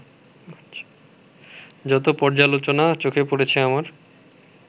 যত পর্যালোচনা চোখে পড়েছে আমার